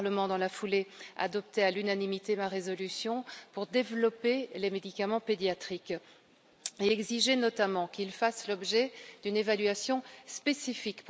Le Parlement, dans la foulée, adoptait à l'unanimité ma résolution pour développer les médicaments pédiatriques, et exigeait notamment que ceux ci fassent l'objet d'une évaluation spécifique.